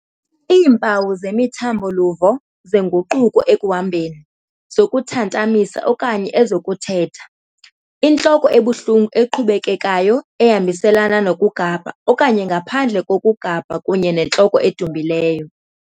Iimpawu zemithambo-luvo, zenguquko ekuhambeni, zokuthantamisa okanye ezokuthetha, intloko ebuhlungu eqhubekekayo ehambiselana nokugabha okanye ngaphandle kokugabha kunye nentloko edumbileyo.